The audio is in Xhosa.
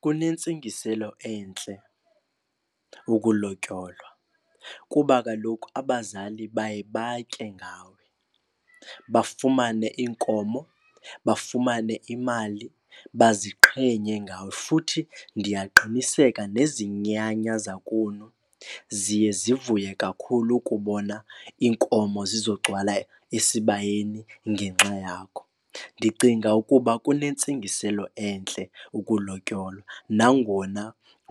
Kunentsingiselo entle ukulotyolwa kuba kaloku abazali baye batye ngawe, bafumane iinkomo, bafumane imali baziqhenye ngawe. Futhi ndiyaqiniseka nezinyanya zakunu ziye zivuye kakhulu ukubona iinkomo zizogcwala esibayeni ngenxa yakho. Ndicinga ukuba kunentsingiselo entle ukulotyolwa nangona